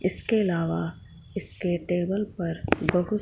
इसके अलावा इसके टेबल पर बहुत--